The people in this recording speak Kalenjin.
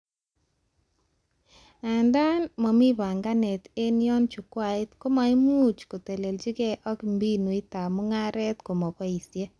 Andaa, mamii banganet eng yo chukwait komaimuch kotelechike ak mbinutab mugaret komaboishe